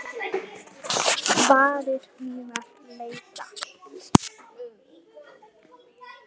Varir mínar leita.